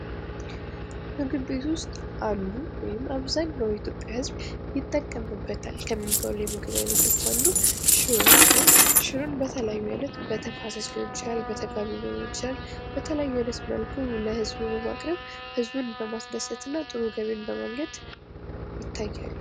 ምግብ ቤት ውስጥ አሉ ወይም አብዛኛው የኢትዮጵያ ህዝብ ይጠቀምበታል ከሚባለው ከምግብ አይነቶች አንዱ ሽሮ ሲሆን ሽሮን በተለያዩ አይነት በተፋሰስ ሊሆን ይችላል፣ በተጋቢኖ ሊሆን ይችላል በተለያየ አይነት መልኩ ለህዝቡ በማቅረብ ህዝቡን በማስደሰት እና ጥሩ ገቢን በማግኘት ይታያል።